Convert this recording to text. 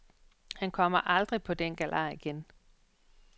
Han kommer aldrig på den galej igen.